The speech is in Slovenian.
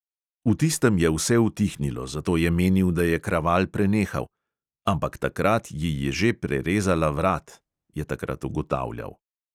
V tistem je vse utihnilo, zato je menil, da je kraval prenehal: "ampak takrat ji je že prerezala vrat," je takrat ugotavljal.